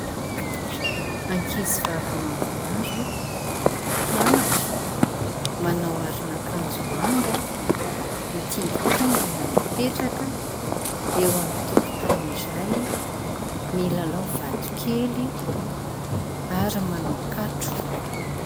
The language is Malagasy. Ankizy vavy maromaro mpianatra, manao aron'akanjo manga , mitingitingina mipetraka eo amin'ny tokotany iray milalao vato kely ary manao katro.